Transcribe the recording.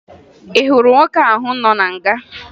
Ị hụrụ nwoke ahụ nọ na nga?